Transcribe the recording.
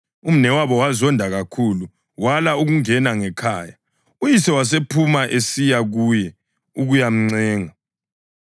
Umnewabo wazonda kakhulu, wala ukungena ngekhaya. Uyise wasephuma esiya kuye ukuyamncenga.